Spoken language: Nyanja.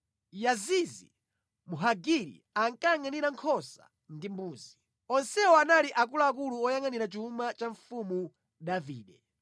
Yazizi Mhagiri akayangʼanira nkhosa ndi mbuzi. Onsewa anali akuluakulu oyangʼanira chuma cha mfumu Davide.